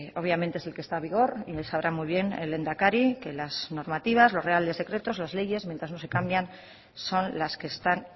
obviamente es el que está en vigor y sabrá muy bien el lehendakari que las normativas los reales decretos las leyes mientras no se cambian son las que están